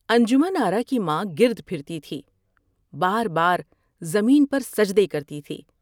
انجمن آرا کی ماں گرد پھرتی تھی ، بار بار زمین پر سجدے کرتی تھی ۔